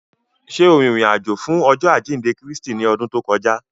Ṣe o rin irin-ajo fun Ọjọ ajinde Kristi ni ọdun to kọja?